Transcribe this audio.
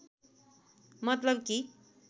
मतलब कि